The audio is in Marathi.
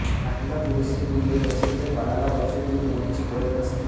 आईला पुरेसे दूध येत असेल तर बाळाला वरचे दूध देण्याची गरज नसते